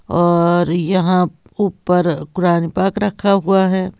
और यहां ऊपर कुरान ए पाक रखा हुआ है।